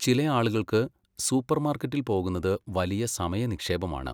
ചില ആളുകൾക്ക്, സൂപ്പർമാർക്കറ്റിൽ പോകുന്നത് വലിയ സമയ നിക്ഷേപമാണ്.